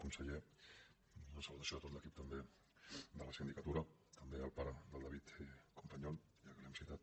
conseller una salutació a tot l’equip també de la sindicatura també al pare del david companyon ja que l’hem citat